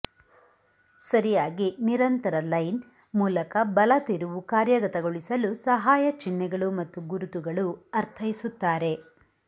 ಸರಿಯಾಗಿ ನಿರಂತರ ಲೈನ್ ಮೂಲಕ ಬಲ ತಿರುವು ಕಾರ್ಯಗತಗೊಳಿಸಲು ಸಹಾಯ ಚಿಹ್ನೆಗಳು ಮತ್ತು ಗುರುತುಗಳು ಅರ್ಥೈಸುತ್ತಾರೆ